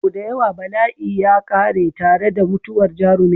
Sau da yawa bala'i ya ƙare tare da mutuwar jarumin.